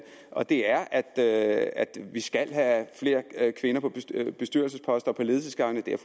og det er er at vi skal have flere kvinder på bestyrelsesposter og på ledelsesgange det er